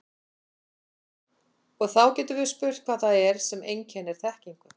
Og þá getum við spurt hvað það er sem einkennir þekkingu.